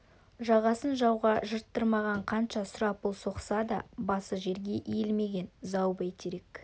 жағасын жауға жырттырмаған қанша сұрапыл соқса да басы жерге иілмеген зау бәйтерек